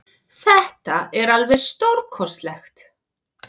Þetta var alveg stórkostlegt